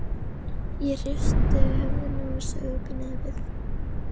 Ég hristi höfuðið og saug upp í nefið.